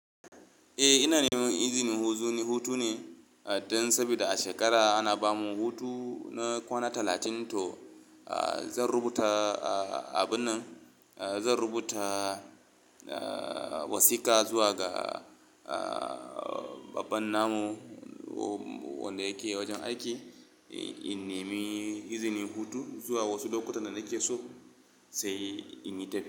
Eh, ina neman izinin huzu ne hutu ne, don sabida a shekara ana ba mu hutu na kwana talatin, to zan rubuta abun nan, zan rubuta wasika zuwa ga babban namu wanda yake wajen aiki, in nemi izinin hutu zuwa wasu lokutan da nake so sai in yi taf.